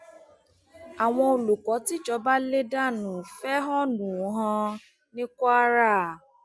àwọn olùkọ tìjọba lè dánú fẹhónú hàn ní kwara